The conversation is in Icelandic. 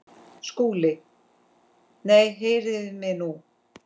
SKÚLI: Nei, heyrið mig nú!